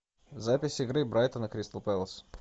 запись игры брайтон и кристал пэлас